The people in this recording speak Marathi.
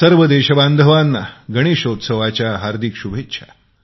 सर्व देश बांधवांना गणेशोत्सवाच्या हार्दिक शुभेच्छा